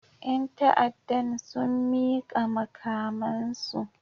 Yan ta'addan sun mika makamansu